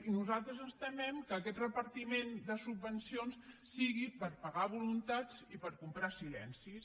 i nosaltres ens temem que aquest repartiment de subvencions sigui per pagar voluntats i per comprar silencis